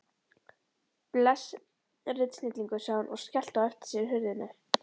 Bless. ritsnillingur, sagði hún og skellti á eftir sér hurðinni.